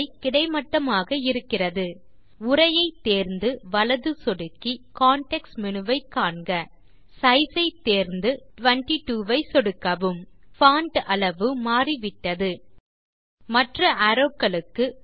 உரை கிடைமட்டமாக இருக்கிறது உரையை தேர்ந்து வலது சொடுக்கி கான்டெக்ஸ்ட் மேனு வை காண்க சைஸ் ஐ தேர்ந்து 22 ஐ சொடுக்கவும் பான்ட் அளவு மாறிவிட்டது மற்ற அரோவ் க்களுக்கு